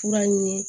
Fura ɲini